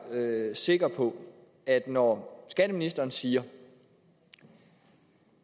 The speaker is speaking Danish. sikker på at når skatteministeren siger